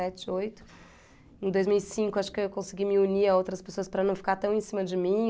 sete, oito. Em dois mil e cinco, acho que eu consegui me unir a outras pessoas para não ficar tão em cima de mim.